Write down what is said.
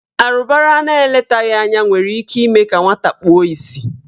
Arụbara na eletaghị anya nwere ime ka nwata kpuo isi.